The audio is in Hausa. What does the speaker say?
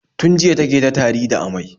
Tun jiya ta ke ta tari da amai.